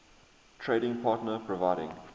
trading partner providing